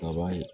Kaba ye